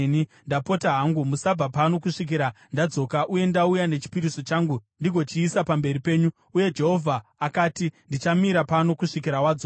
Ndapota hangu, musabva pano kusvikira ndadzoka uye ndauya nechipiriso changu ndigochiisa pamberi penyu.” Uye Jehovha akati, “Ndichamira pano kusvikira wadzoka.”